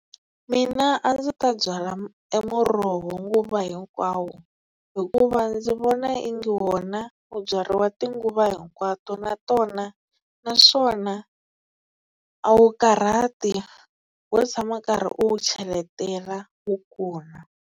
Mina a ndzi ta byala emuroho nguva hinkwawo, hikuva ndzi vona ingi wona wu byariwa tinguva hinkwato, natona naswona a wu karhati wo tshama karhi u wu cheletela wu kula.